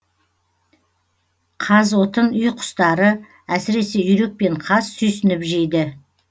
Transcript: қазотын үй құстары әсіресе үйрек пен қаз сүйсініп жейді